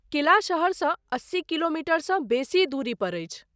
किला शहरसँ अस्सी किलोमीटरसँ बेसी दूरीपर अछि।